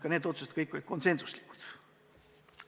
Ka need otsused olid kõik konsensuslikud.